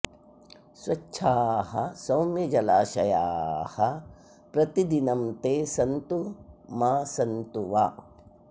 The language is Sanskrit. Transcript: स्वच्छाः सौम्यजलाशयाः प्रतिदिनं ते सन्तु मा सन्तु वा